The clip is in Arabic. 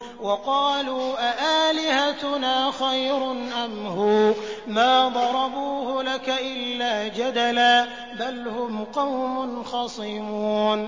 وَقَالُوا أَآلِهَتُنَا خَيْرٌ أَمْ هُوَ ۚ مَا ضَرَبُوهُ لَكَ إِلَّا جَدَلًا ۚ بَلْ هُمْ قَوْمٌ خَصِمُونَ